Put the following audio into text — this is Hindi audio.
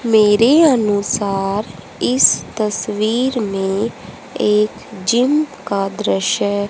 मेरे अनुसार इस तस्वीर में एक जिम का दृश्य--